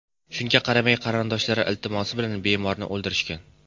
Shunga qaramay, qarindoshlari iltimosi bilan bemorni o‘ldirishgan.